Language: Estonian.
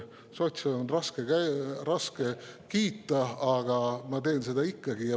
Sotse on raske kiita, aga ma teen seda ikkagi.